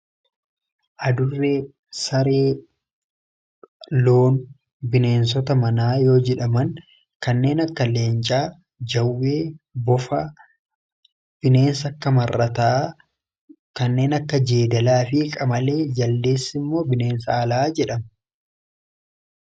Adurree, saree, loon bineensota manaa yoo jedhaman kanneen akka leencaa, jawwee, bofa, bineensa akka marrataa, kanneen akka jeedalaa fi qamalee, jaldeessi immoo bineensa alaa jedhamu.